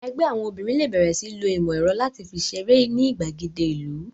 Ẹgbẹ́ àwọn obìnrin lè bẹ̀rẹ̀ sí ń lo ìmọ̀ ẹ̀rọ láti fi ṣeré ní ìgbàgede ìlú